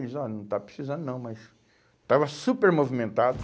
Eles, ó, não está precisando não, mas... Estava super movimentado.